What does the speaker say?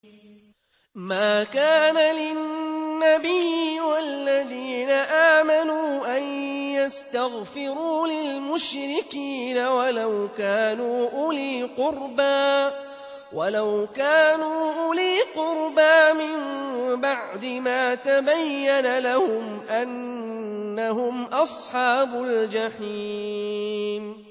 مَا كَانَ لِلنَّبِيِّ وَالَّذِينَ آمَنُوا أَن يَسْتَغْفِرُوا لِلْمُشْرِكِينَ وَلَوْ كَانُوا أُولِي قُرْبَىٰ مِن بَعْدِ مَا تَبَيَّنَ لَهُمْ أَنَّهُمْ أَصْحَابُ الْجَحِيمِ